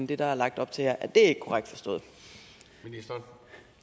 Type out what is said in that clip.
det der er lagt op til her er det ikke korrekt forstået